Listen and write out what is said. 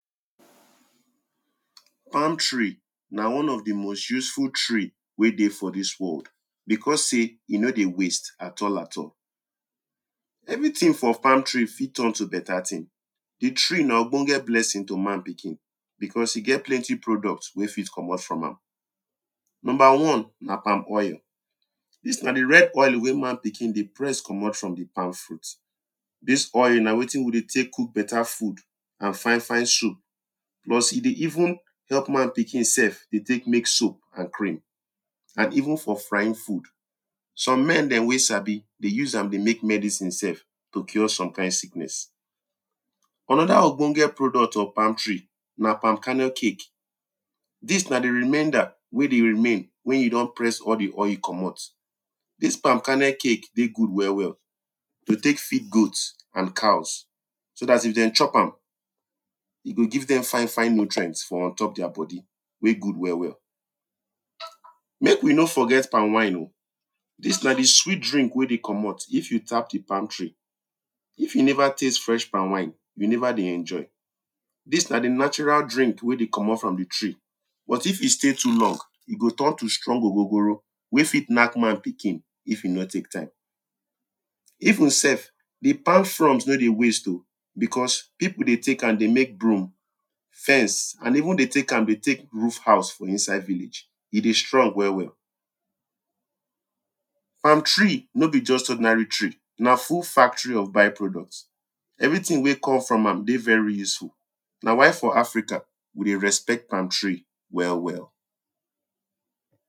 Palm tree na one of di most useful tree wen dey for dis world. Because sey e no dey waste at all at all. everything for palm tree fit turn to better thing, di tree na ogbonge blessing to man pikin. Because e get plenty products wen fit komot from am, number one; na palm oil dis na di red oil wey man pikin dey press komot from di palm fruit. Dis oil na wetin we dey take cook better food and fine fine soup, plus e dey even help man pikin sef take make soap and cream and even for frying food, some men dem wen sabi dey use am dey make medicine sef to cure some kind sickness, another ogbonge product of palm tree, na palm karnel cake. Dis na di remainder wen dey remain wen you don press all di oil komot, dis palm karnel cake dey good well well dem take feed goats and cows, so dat if dem chop am, e go give dem fine fine nutrient for untop their body wey good welll welll. Make we nor forget palm wine oh, dis na di swit drink wey dey komot if you tap di palm tree, if you never taste fresh palmwine, you never dey enjoy, dis na di natural drink wen dey komot from di tree but if e stay too long e go turn to strong ogogoro wen go fit nack man pikin if e nor take time. Even self di palm frond nor dey waste oh, because peple dey take am dey ,make broom, fence, and even use dey take am dey take roof house for inside village, e dey strong well well, palm tree nor be just ordinary tree na full factory of by products everything wey come from dey very useful na why for Africa we dey respect palm tree well well.